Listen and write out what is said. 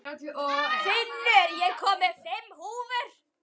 Finnur, ég kom með fimm húfur!